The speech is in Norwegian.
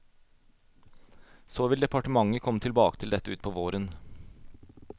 Så vil departementet komme tilbake til dette ut på våren.